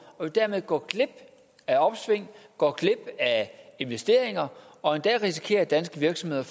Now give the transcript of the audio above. dermed gå glip af opsving og investeringer og en dag risikerer danske virksomheder